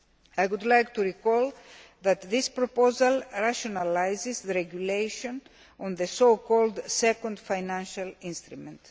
I would like to recall that this proposal rationalises the regulation on the so called second financial instrument.